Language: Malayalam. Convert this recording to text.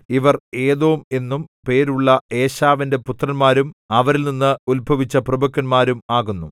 ഇവർ ഏദോം എന്നും പേരുള്ള ഏശാവിന്റെ പുത്രന്മാരും അവരിൽനിന്ന് ഉത്ഭവിച്ച പ്രഭുക്കന്മാരും ആകുന്നു